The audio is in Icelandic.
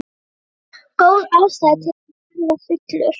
Góð ástæða til að verða fullur.